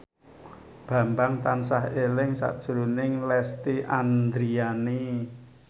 Bambang tansah eling sakjroning Lesti Andryani